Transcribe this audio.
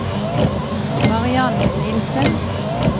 Mariann Nilssen